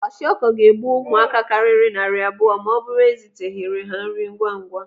Kwashiọkọ ga-egbu ụmụaka karịrị narị abụọ ma ọ bụrụ eziteghịrị ha nri ngwa ngwa.